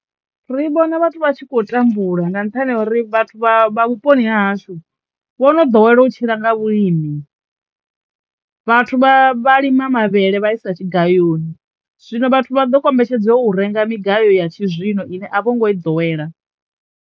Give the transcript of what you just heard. Ri vhona vhathu vha tshi khou tambula nga nṱhani ha uri vhathu vha vha vhuponi ha hashu vho no ḓowela u tshila nga vhulimi, vhathu vha vha lima mavhele vha isa tshigayoni zwino vhathu vha ḓo kombetshedzwa u renga migayo ya tshizwino ine a vho ngo i ḓowela.